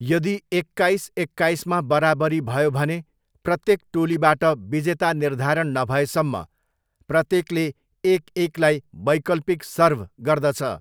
यदि एक्काइस एक्काइसमा बराबरी भयो भने, प्रत्येक टोलीबाट विजेता निर्धारण नभएसम्म प्रत्येकले एक एकलाई वैकल्पिक सर्भ गर्दछ।